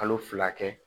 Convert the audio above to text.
Kalo fila kɛ